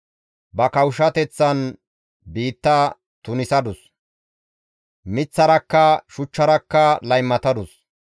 Ba kawushshateththan biitta tunisadus; miththarakka shuchcharakka laymatadus.